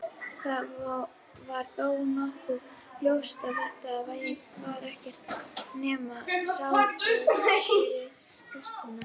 Það var þó nokkuð ljóst að þetta var ekkert nema sárabót fyrir gestina.